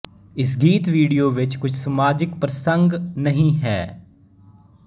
ਇਸ ਗੀਤ ਵੀਡੀਓ ਵਿੱਚ ਕੁਝ ਸਮਾਜਿਕ ਪ੍ਰਸੰਗ ਨਹੀਂ ਹੈ